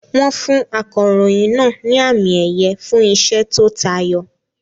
Wọ́n fún akọ̀ròyìn náà ní àmì-ẹ̀yẹ fún iṣẹ́ tó tayọ.